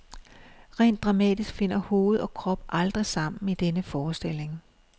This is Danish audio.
Rent dramatisk finder hoved og krop aldrig sammen i denne forestilling.